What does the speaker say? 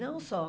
Não só.